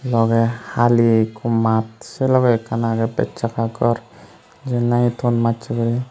logey hali ekko maat se logey ekkan agey bechchaga gor jiyen nahi ton machje guri.